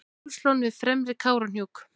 hálslón við fremri kárahnjúk